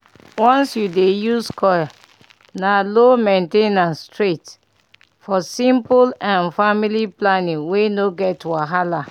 once you dey use coil na low main ten ance straight -for simple um family planning wey no get wahala